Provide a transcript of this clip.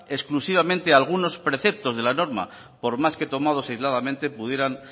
exclusivamente a algunos preceptos de la norma por más que tomados aisladamente pudieran